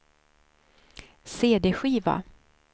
cd-skiva